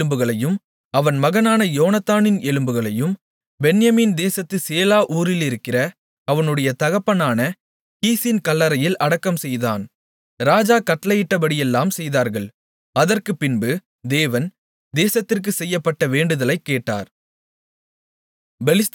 சவுலின் எலும்புகளையும் அவன் மகனான யோனத்தானின் எலும்புகளையும் பென்யமீன் தேசத்து சேலா ஊரிலிருக்கிற அவனுடைய தகப்பனான கீசின் கல்லறையில் அடக்கம்செய்தான் ராஜா கட்டளையிட்டபடியெல்லாம் செய்தார்கள் அதற்குப்பின்பு தேவன் தேசத்திற்காகச் செய்யப்பட்ட வேண்டுதலைக் கேட்டார்